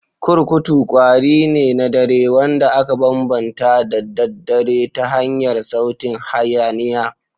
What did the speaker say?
kurkutu kwari ne na dare, wanda aka bambanta da daddare ta hanyar sautin hayaniya.